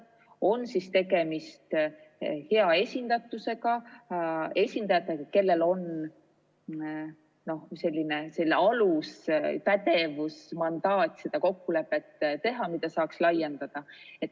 tegemist on siis hea esindatusega või esindajatega, kellel on pädevus ja mandaat sõlmida seda kokkulepet, mida saaks laiendada.